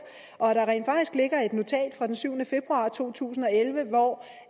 og at der rent faktisk ligger et notat fra den syvende februar to tusind og elleve hvor